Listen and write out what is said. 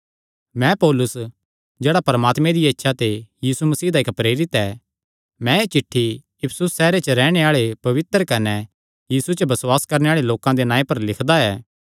मैं पौलुस जेह्ड़ा परमात्मे दिया इच्छा ते यीशु मसीह दा इक्क प्रेरित ऐ मैं एह़ चिठ्ठी इफिसुस सैहरे च रैहणे आल़े पवित्र कने यीशु च बसुआस करणे आल़े लोकां दे नांऐ पर लिखदा ऐ